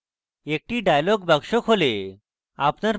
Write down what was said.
একটি dialog box খোলে